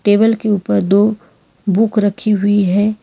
Table के ऊपर दो बुक रखी हुई है।